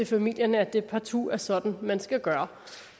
familierne at det partout er sådan man skal gøre